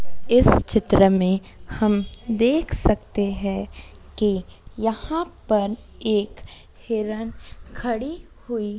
इस चित्र में हम देख सकते है कि यहां पर एक हिरण खड़ी हुई--